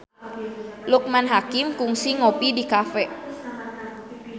Loekman Hakim kungsi ngopi di cafe